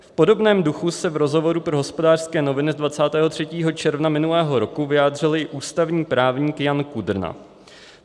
V podobném duchu se v rozhovoru pro Hospodářské noviny z 23. června minulého roku vyjádřil i ústavní právník Jan Kudrna.